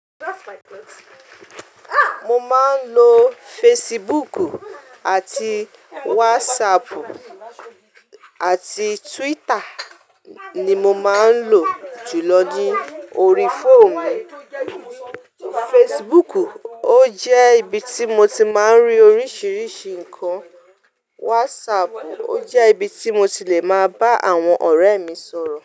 Mo máa ń lo Facebook àti WhatsApp àti Twitter ni mo máa ń lò jù lọ ní orí fóònù mi. Facebook ó jẹ́ ibi tí mo ti máa ń rí oríṣiríṣi nǹkan. WhatsApp ó jẹ́ ibi tí mo ti lè máa bá àwọn ọ̀rẹ́ mi sọ̀rọ̀.